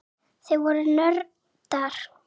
Þau voru nördar.